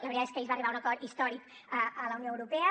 la veritat és que ahir es va arribar a un acord històric a la unió europea